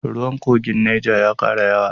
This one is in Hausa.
Ruwan kogin neja ya kara yawa.